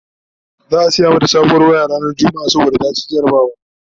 za'a saya mata sabon waya ranar litini saboda ta ci jarabawa